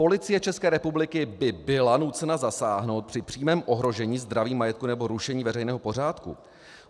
Policie České republiky by byla nucena zasáhnout při přímém ohrožení zdraví, majetku nebo rušení veřejného pořádku.